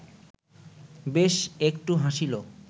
বেশ একটু হাসিল